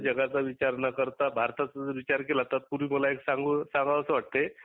जगाचा विचार न करता भारताचा जर विचार केला तत पुर्वि बोलाचे सांग सांगावसे वाटते